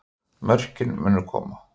Mörkin munu koma